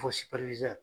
Fɔ